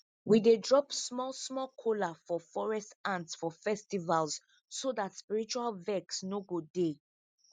we dey drop small small kola for forest ants for festivals so dat spiritual vex no go dey